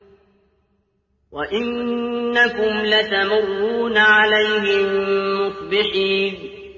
وَإِنَّكُمْ لَتَمُرُّونَ عَلَيْهِم مُّصْبِحِينَ